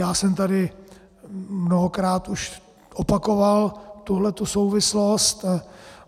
Já jsem tady mnohokrát už opakoval tuhletu souvislost.